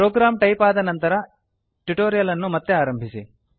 program type ಆದ ನಂತರ tutorial ಅನ್ನು ಮತ್ತೆ ಆರಂಭಿಸಿ